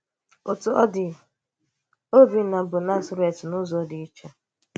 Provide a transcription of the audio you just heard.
Òtú ọ̀ dị̀, Ọ́bìnnà bụ̀ Nazíraị̀tì n’ụ́zọ̀ dị̀ íché.